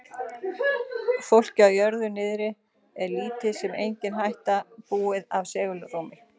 Fólki á jörðu niðri er lítil sem engin hætta búin af segulstormi.